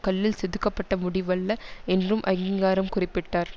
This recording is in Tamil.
கல்லில் செதுக்கப்பட்ட முடிவல்ல என்றும் அகிங்காரம் குறிப்பிட்டார்